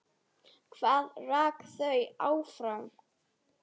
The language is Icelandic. Hvað rak þau áfram?